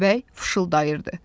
Köstəbək fısıldayırdı.